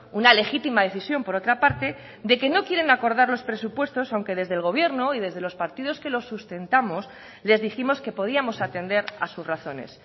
una legítima decisión por otra parte de que no quieren acordar los presupuestos aunque desde el gobierno y desde los partidos que lo sustentamos les dijimos que podíamos atender a sus razones